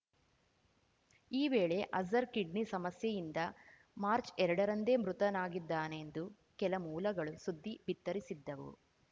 ಈ ವೇಳೆ ಅಜರ್ ಕಿಡ್ನಿ ಸಮಸ್ಯೆಯಿಂದ ಮಾರ್ಚ್ ಎರಡ ರಂದೇ ಮೃತನಾಗಿದ್ದಾನೆಂದು ಕೆಲ ಮೂಲಗಳು ಸುದ್ದಿ ಬಿತ್ತರಿಸಿದ್ದವು